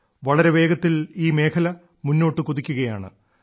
വളരെ വേഗത്തിൽ ഈ മേഖല മുന്നോട്ട് കുതിക്കുകയാണ്